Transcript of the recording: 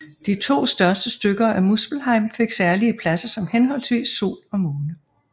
De to største stykker af Muspelheim fik særlige pladser som henholdsvis sol og måne